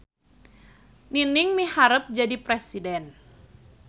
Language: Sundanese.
Nining miharep jadi presiden